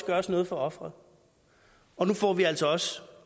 gøres noget for offeret og nu får vi altså også